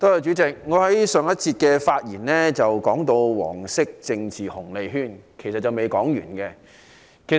主席，我在上節發言提到"黃色政治紅利圈"，其實還未說完的。